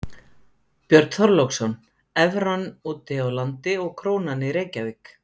Björn Þorláksson: Evran úti á landi og krónan í Reykjavík?